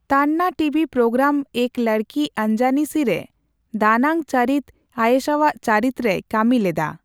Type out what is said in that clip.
ᱛᱟᱱᱱᱟ TV programme ᱮᱠ ᱞᱚᱲᱠᱤ ᱚᱱᱡᱟᱱᱤ ᱥᱤ ᱼᱨᱮ ᱫᱟᱱᱟᱝ ᱪᱟᱹᱨᱤᱛ ᱟᱭᱮᱥᱟᱣᱟᱜ ᱪᱟᱹᱨᱤᱛ ᱨᱮᱭ ᱠᱟᱹᱢᱤᱞᱮᱫᱟ ᱾